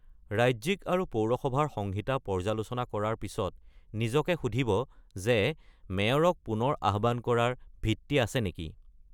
ৰাজ্যিক আৰু পৌৰসভাৰ সংহিতা পৰ্যালোচনা কৰাৰ পিছত নিজকে সুধিব যে মেয়ৰক পুনৰ আহ্বান কৰাৰ ভিত্তি আছে নেকি?